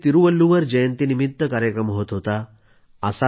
कुठं तिरूवल्लुवर जयंतीनिमित्त कार्यक्रम होत होता